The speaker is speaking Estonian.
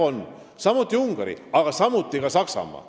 Jah on, samuti on Ungari, aga samuti on ka Saksamaa.